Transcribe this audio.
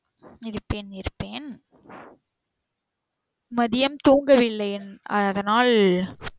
இருப்பேன் இருப்பேன். மத்தியம் தூங்கவில்லை. அதனால்